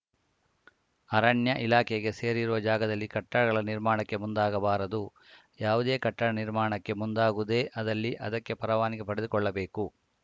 ಅರಣ್ಯ ಇಲಾಖೆಗೆ ಸೇರಿರುವ ಜಾಗದಲ್ಲಿ ಕಟ್ಟಡಗಳ ನಿರ್ಮಾಣಕ್ಕೆ ಮುಂದಾಗಬಾರದು ಯಾವುದೇ ಕಟ್ಟಡ ನಿರ್ಮಾಣಕ್ಕೆ ಮುಂದಾಗುವುದೇ ಅದಲ್ಲಿ ಅದಕ್ಕೆ ಪರವಾನಗಿ ಪಡೆದುಕೊಳ್ಳಬೇಕು